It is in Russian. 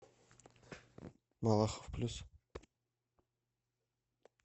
малахов плюс